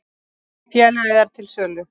Félagið er til sölu.